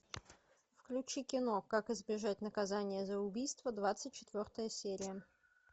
включи кино как избежать наказания за убийство двадцать четвертая серия